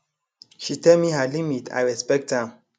she tell me her limit i respect am